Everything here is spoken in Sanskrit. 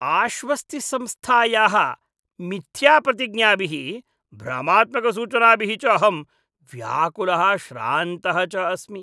आश्वस्तिसंस्थायाः मिथ्याप्रतिज्ञाभिः भ्रमात्मकसूचनाभिः च अहं व्याकुलः श्रान्तः च अस्मि।